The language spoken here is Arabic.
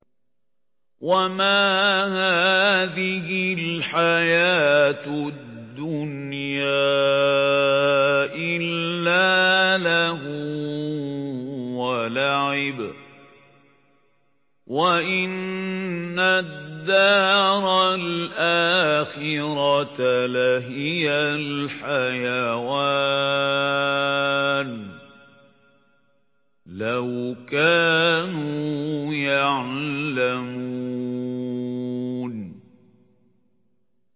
وَمَا هَٰذِهِ الْحَيَاةُ الدُّنْيَا إِلَّا لَهْوٌ وَلَعِبٌ ۚ وَإِنَّ الدَّارَ الْآخِرَةَ لَهِيَ الْحَيَوَانُ ۚ لَوْ كَانُوا يَعْلَمُونَ